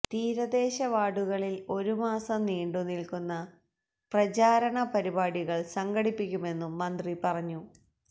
തീരദേശ വാര്ഡുകളില് ഒരു മാസം നീണ്ടുനില്ക്കുന്ന പ്രചാരണ പരിപാടികള് സംഘടിപ്പിക്കുമെന്നും മന്ത്രി പറഞ്ഞു